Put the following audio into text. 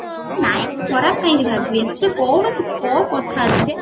ନାଇଁ ଖରାପ କାଇଁ ଭାବିବି ଏଥିରେ କୌଣସି କୋଉ କଥା ଅଛି ଯେ